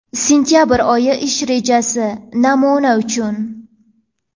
Sentabr oyi ish rejasi (Namuna uchun).